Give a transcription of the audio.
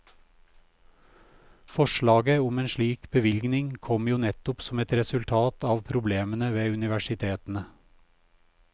Forslaget om en slik bevilgning kom jo nettopp som et resultat av problemene ved universitetene.